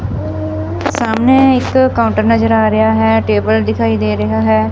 ਸਾਹਮਣੇ ਇੱਕ ਕਾਊਂਟਰ ਨਜ਼ਰ ਆ ਰਿਹਾ ਹੈ ਟੇਬਲ ਦਿਖਾਈ ਦੇ ਰਿਹਾ ਹੈ।